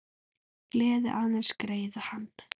Gleði aðeins greiða kann.